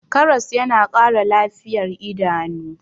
karas yana Kara lafiyar idanu